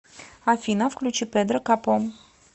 афина включи пэдро капо